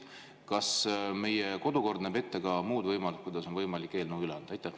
Kas meie kodukord näeb ette ka muud võimalused, kuidas on võimalik eelnõu üle anda?